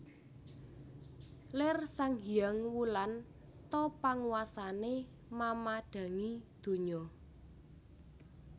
Lir sang hyang Wulan ta panguwasané mamadhangi donya